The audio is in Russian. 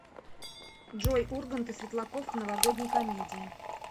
джой ургант и светлаков в новогодней комедии